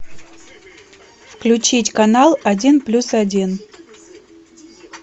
включить канал один плюс один